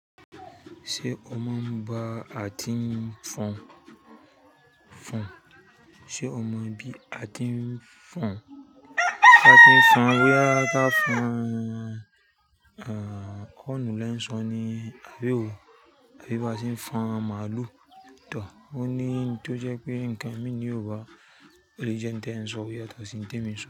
Ṣé o mọ ba à ti ń fọn, fọn? Ṣé o mọ bí a ti ń fọn? A ti ń fọn owó yàá ká fọn, à, ọ̀nà ọ̀lẹ ń sọ ní, àbí ò, àbí bá sì ń fọn màálù tán. Ó ní tó jẹ́ pé ǹkan mi ni Yorùbá, èlé jẹ́ ń tẹ̀ẹ́ sọ, ó yàtọ̀ sí ǹkan tí èmi ń sọ.